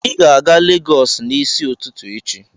Ị ga-aga Legọs n'isi ụtụtụ echi!